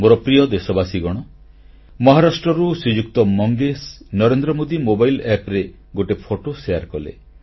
ମୋର ପ୍ରିୟ ଦେଶବାସୀଗଣ ମହାରାଷ୍ଟ୍ରରୁ ଶ୍ରୀଯୁକ୍ତ ମଙ୍ଗେଶ୍ ନରେନ୍ଦ୍ର ମୋଦୀ ମୋବାଇଲ ଆପ୍ ରେ ଗୋଟିଏ ଫଟୋ ଶେୟାର କଲେ